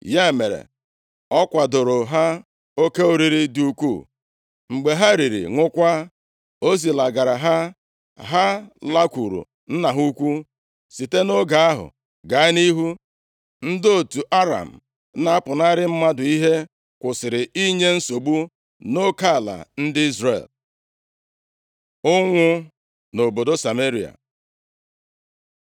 Ya mere, ọ kwadooro ha oke oriri dị ukwuu, mgbe ha riri, ṅụkwaa, o zilagara ha, ha lakwuuru nna ha ukwu. Site nʼoge ahụ gaa nʼihu, ndị otu Aram na-apụnara mmadụ ihe kwusịrị inye nsogbu nʼoke ala ndị Izrel. Ụnwụ nʼobodo Sameria